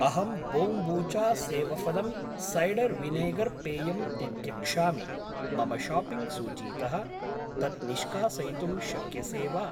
अहं बोम्बूचा सेवफलम् cider vinegar पेयम् तित्यक्षामि, मम शाप्पिङ्ग् सूचीतः तत् निष्कासयितुं शक्यसे वा?